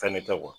Fɛn ne tɛ